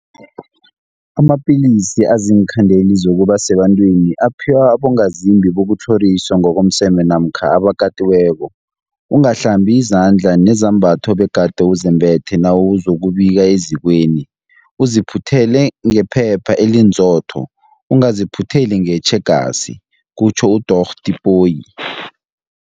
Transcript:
Amapilisi aziinkhandeli zokuba sebantwini aphiwa abongazimbi bokutlhoriswa ngokomseme namkha abakatiweko. Ungahlambi izandla nezembatho obegade uzembethe nawuzokubika ezikweni, uziphuthele ngephepha elinzotho, ungaziphutheli ngetjhegasi, kutjho uDorh Tipoy.